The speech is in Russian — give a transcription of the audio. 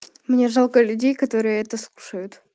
мне жалко людей которые это слушают